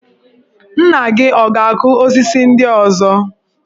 Nna gi ọ̀ ga-akụ osisi ndị ọzọ?